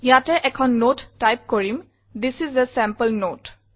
ইয়াতে এখন নতে টাইপ কৰিম থিচ ইচ a চেম্পল নতে